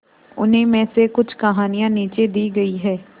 उन्हीं में से कुछ कहानियां नीचे दी गई है